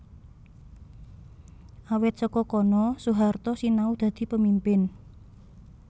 Awit saka kono Soehaarto sinau dadi pemimpin